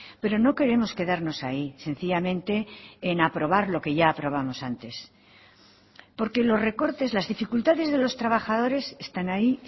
pero no queremos quedarnos ahí sencillamente en aprobar lo que ya aprobamos antes porque los recortes las dificultades de los trabajadores están ahí